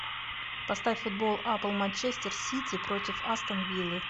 поставь футбол апл манчестер сити против астон виллы